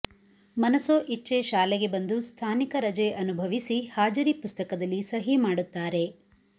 ಮನಸೊ ಇಚ್ಛೆ ಶಾಲೆಗೆ ಬಂದು ಸ್ಥಾನಿಕ ರಜೆ ಅನುಭವಿಸಿ ಹಾಜರಿ ಪುಸ್ತಕದಲ್ಲಿಸಹಿ ಮಾಡುತ್ತಾರೆ